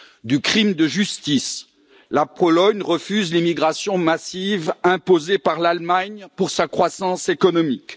Du crime de justice la Pologne refuse l'immigration massive imposée par l'Allemagne pour sa croissance économique.